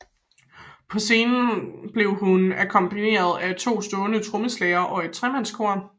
På scenen blev hun akkompagneret at to stående trommeslagere og et tremandskor